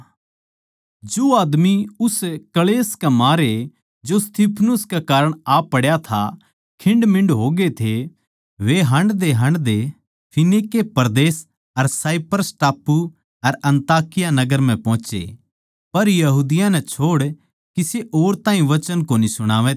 जो आदमी उस क्ळेश के मारे जो स्तिफनुस कै कारण पड्या था खिंडमींड हो गये थे वे हांडदेहांडदे फीनीके परदेस अर साइप्रस टापू अर अन्ताकिया नगर म्ह पोहोचे पर यहूदियाँ नै छोड़ किसे और ताहीं वचन कोनी सुणावै थे